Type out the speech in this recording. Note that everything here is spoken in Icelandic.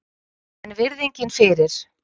En virðingin fyrir